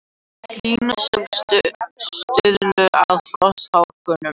Hlýnun sögð stuðla að frosthörkum